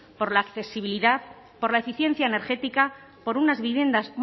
por la accesibilidad por la eficiencia energética por unas viviendas